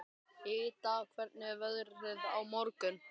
Ida, hvernig er veðrið á morgun?